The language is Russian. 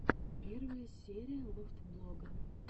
первая серия лофтблога